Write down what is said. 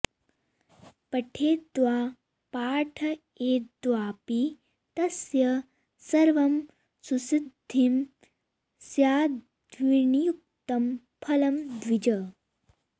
पठेद्वा पाठयेद्वापि तस्य सर्वं सुसिद्धं स्याद्विनियुक्तं फलं द्विज